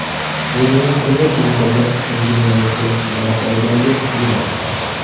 Bugungi kunda internet butun dunyoni to‘liq qamrab olgandek tuyuladi.